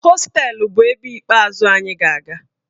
Hostelu bụ ebe ikpeazụ anyị ga-aga.